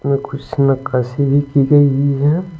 में कुछ नक्काशी भी की गई है।